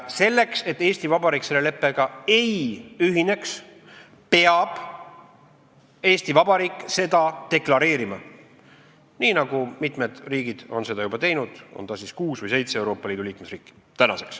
Selleks, et Eesti Vabariik selle leppega ei ühineks, peab Eesti Vabariik seda deklareerima, nii nagu mitmed riigid on seda juba teinud, tänaseks on seda teinud kuus või seitse Euroopa Liidu liikmesriiki.